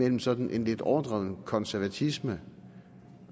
en sådan lidt overdrevet konservatisme